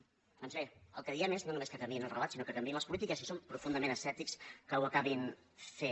doncs bé el que diem és no només que canviïn el relat sinó que canviïn les polítiques i si som profundament escèptics que ho acabin fent